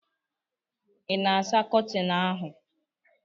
ị na-asa Kọtịn ahụ?